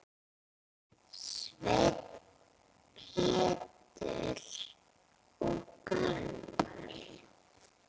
Sveinn, Pétur og Gunnar.